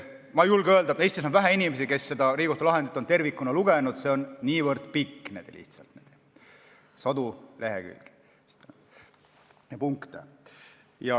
Ma julgen öelda, et Eestis on vähe inimesi, kes on seda Riigikohtu lahendit tervikuna lugenud, see on lihtsalt niivõrd pikk, sadu lehekülgi ja punkte.